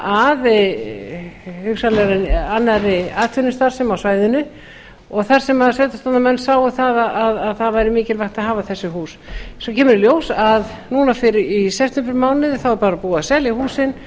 að hugsanlegri annarri atvinnustarfsemi á svæðinu og þar sem sveitarstjórnarmenn sáu að það væri mikilvægt að hafa þessi hús svo kemur í ljós að núna í septembermánuði er bara búið að selja húsin